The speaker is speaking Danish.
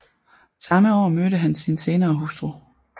Samme år mødte han sin senere hustru